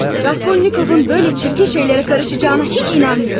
Raskolnikovun belə çirkin şeylərə qarışacağına heç inanmıyorum.